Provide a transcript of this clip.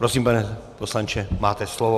Prosím, pane poslanče, máte slovo.